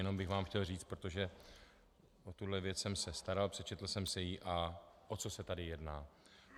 Jenom bych vám chtěl říct, protože o tuto věc jsem se staral, přečetl jsem si ji, a o co se tady jedná.